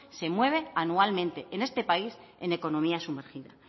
se mueve anualmente en este país en economía sumergida